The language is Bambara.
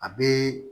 A bɛ